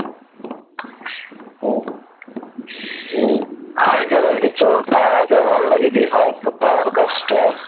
আমি কি বলছি তোর পাড়াতে বলনা যদি হয় তোর পাড়ার কাজটা